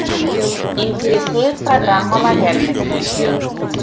интересует программа лояльности